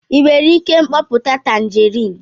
ị nwere ike mkpoputa tanjerịn?